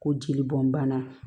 Ko jeli bɔn bana